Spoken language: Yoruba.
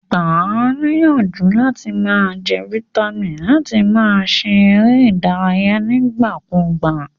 Gba a níyànjú làti ma je vitamin àti láti ma se eré ìdárayé nígbà kúgbà